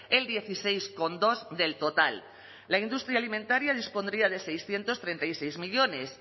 el dieciséis coma dos del total la industria alimentaria dispondría de seiscientos treinta y seis millónes